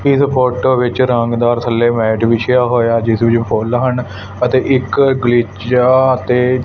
ਇਸ ਫ਼ੋਟੋ ਵਿੱਚ ਰੰਗਦਾਰ ਥੱਲੇ ਮੈਟ ਵਿਛਿਆ ਹੋਇਆ ਜਿਸ ਵਿੱਚ ਫੁੱਲ ਹਨ ਅਤੇ ਇੱਕ ਗਲੀਚਾ ਅਤੇ--